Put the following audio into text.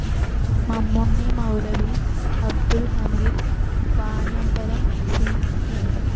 Mammunni Maulavi, Abdul Hameed Vaniyambalam, C.